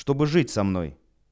чтобы жить со мной